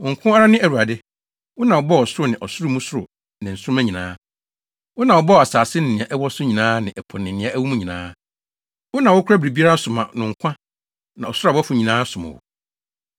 Wo nko ara ne Awurade. Wo na wobɔɔ ɔsoro ne ɔsoro mu soro ne nsoromma nyinaa. Wo na wobɔɔ asase ne nea ɛwɔ so nyinaa ne ɛpo ne nea ɛwɔ mu nyinaa. Wo na wokora biribiara so ma no nkwa, na ɔsoro abɔfo nyinaa som wo.